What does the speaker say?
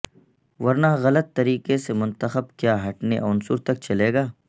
ورنہ غلط طریقے سے منتخب کیا ہٹنے عنصر تک چلے گا